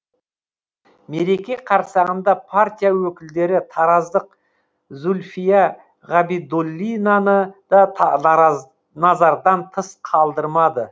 мереке қарсаңында партия өкілдері тараздық зульфия ғабидуллинаны да нараз назардан тыс қалдырмады